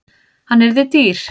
Hann yrði dýr.